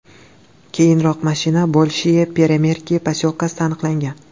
Keyinroq mashina Bolshiye Peremerki posyolkasida aniqlangan.